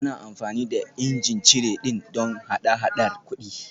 Ana amfani da ijin cire ɗin don hada-hadar kuɗi